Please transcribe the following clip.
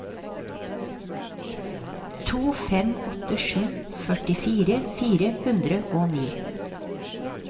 to fem åtte sju førtifire fire hundre og ni